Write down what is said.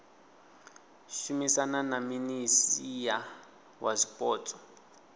shumisana na minisia wa zwipotso